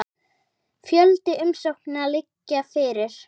Fjöldi umsókna liggi fyrir.